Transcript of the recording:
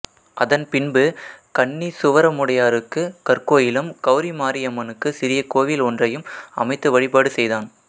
அதன் பின்பு கண்ணீசுவரமுடையாருக்கு கற்கோயிலும் கௌமாரியம்மனுக்கு சிறிய கோயில் ஒன்றையும் அமைத்து வழிபாடு செய்தான்